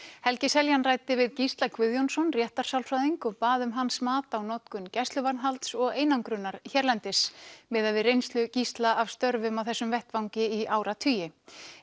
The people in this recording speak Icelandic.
helgi Seljan ræddi við Gísla Guðjónsson réttarsálfræðing og bað um hans mat á notkun gæsluvarðhalds og einangrunar hérlendis miðað við reynslu Gísla af störfum á þessum vettvangi í áratugi